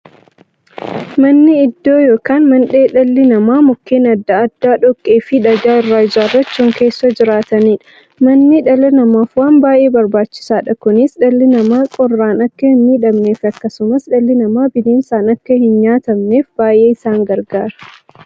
Manni iddoo yookiin mandhee dhalli namaa Mukkeen adda addaa, dhoqqeefi dhagaa irraa ijaarachuun keessa jiraataniidha. Manni dhala namaaf waan baay'ee barbaachisaadha. Kunis, dhalli namaa qorraan akka hinmiidhamneefi akkasumas dhalli namaa bineensaan akka hinnyaatamneef baay'ee isaan gargaara.